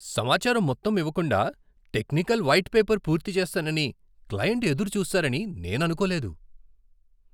సమాచారం మొత్తం ఇవ్వకుండా, టెక్నికల్ వైట్ పేపర్ పూర్తి చేస్తానని క్లయింట్ ఎదురు చూస్తారని నేను అనుకోలేదు.